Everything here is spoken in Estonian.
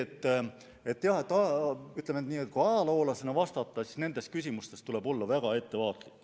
Nii et jah, ütleme nii, et kui ajaloolasena vastata, siis tuleb nendes küsimustes olla väga ettevaatlik.